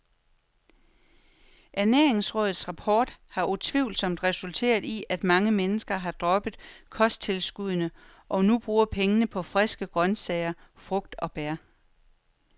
Ernæringsrådets rapport har utvivlsomt resulteret i, at mange mennesker har droppet kosttilskuddene, og nu bruger pengene på friske grøntsager, frugt og bær.